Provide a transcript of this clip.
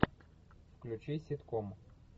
включи ситком